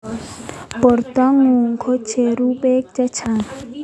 Porto ngung ko cheru peek chechang.